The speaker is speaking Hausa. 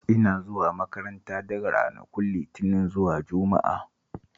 Ina zuwa makaranta daga ranakun Litinin zuwa Juma'a